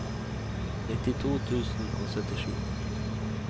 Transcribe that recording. nittito tusen og syttisju